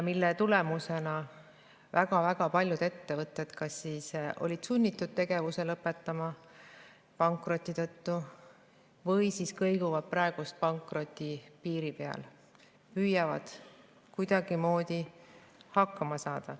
Selle tagajärjel on väga-väga paljud ettevõtted olnud sunnitud pankroti tõttu tegevuse lõpetama või kõiguvad praegu pankroti piiril, püüavad kuidagimoodi hakkama saada.